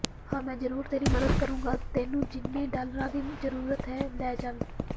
ਹਾਂ ਮੈਂ ਜਰੂਰ ਤੇਰੀ ਮਦਦ ਕਰੂੰਗਾ ਤੈਨੂੰ ਜਿੰਨੇ ਡਾਲਰਾਂ ਦੀ ਜ਼ਰੂਰਤ ਹੈ ਲੈ ਜਾਵੀ